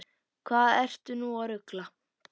Hvað ertu nú að rugla!